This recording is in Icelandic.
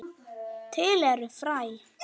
Til eru fræ.